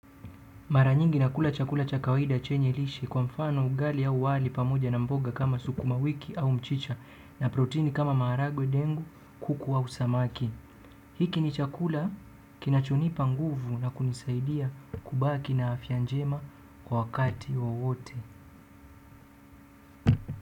Mara nyingi nakula chakula cha kawida chenye lishe kwa mfano ugali au wali pamoja na mboga kama sukuma wiki au mchicha na protini kama maharagwe dengu, kuku au samaki. Hiki ni chakula kinachonipa nguvu na kunisaidia kubaki na afya njema kwa wakati wowote.